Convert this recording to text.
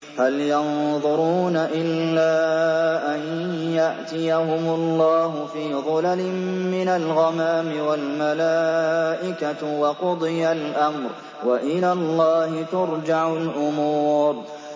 هَلْ يَنظُرُونَ إِلَّا أَن يَأْتِيَهُمُ اللَّهُ فِي ظُلَلٍ مِّنَ الْغَمَامِ وَالْمَلَائِكَةُ وَقُضِيَ الْأَمْرُ ۚ وَإِلَى اللَّهِ تُرْجَعُ الْأُمُورُ